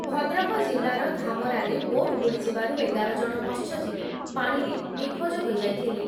ଭଦ୍ରକ ଜିଲ୍ଲାର ଧାମରାରେ ବୋଟ୍ ବୁଡ଼ିଯିବାରୁ ଏଗାର ଜଣ ମତ୍ସ୍ୟଜୀବୀ ପାଣିରେ ନିଖୋଜ ହୋଇଯାଇଥିଲେ।